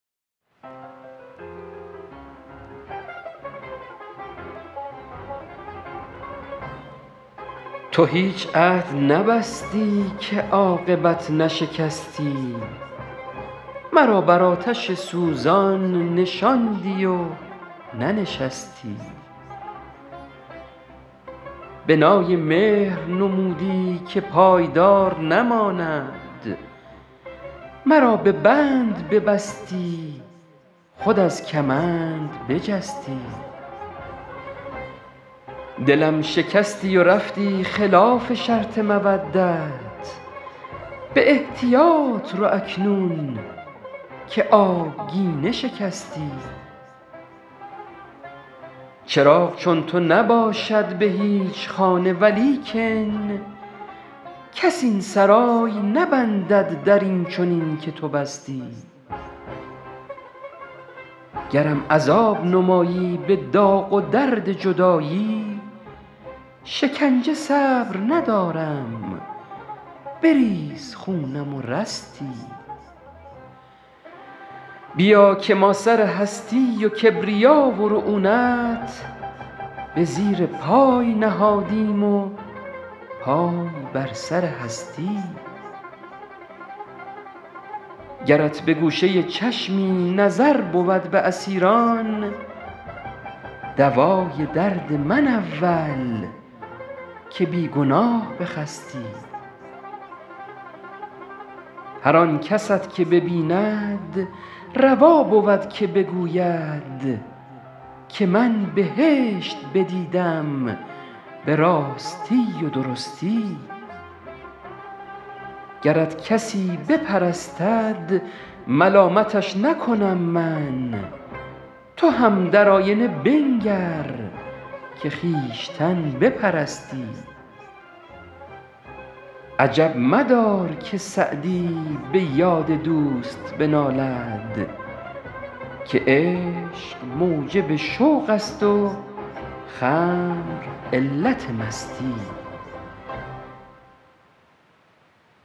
تو هیچ عهد نبستی که عاقبت نشکستی مرا بر آتش سوزان نشاندی و ننشستی بنای مهر نمودی که پایدار نماند مرا به بند ببستی خود از کمند بجستی دلم شکستی و رفتی خلاف شرط مودت به احتیاط رو اکنون که آبگینه شکستی چراغ چون تو نباشد به هیچ خانه ولیکن کس این سرای نبندد در این چنین که تو بستی گرم عذاب نمایی به داغ و درد جدایی شکنجه صبر ندارم بریز خونم و رستی بیا که ما سر هستی و کبریا و رعونت به زیر پای نهادیم و پای بر سر هستی گرت به گوشه چشمی نظر بود به اسیران دوای درد من اول که بی گناه بخستی هر آن کست که ببیند روا بود که بگوید که من بهشت بدیدم به راستی و درستی گرت کسی بپرستد ملامتش نکنم من تو هم در آینه بنگر که خویشتن بپرستی عجب مدار که سعدی به یاد دوست بنالد که عشق موجب شوق است و خمر علت مستی